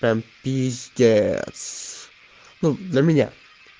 там пиздец ну для меня